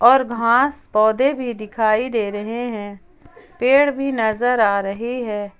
और घास पौधे भी दिखाई दे रहे हैं पेड़ भी नजर आ रही है।